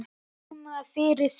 Núna fyrir þrjá.